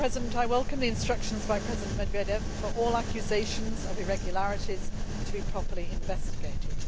I welcome the instructions by President Medvedev for all accusations of irregularities to be properly investigated.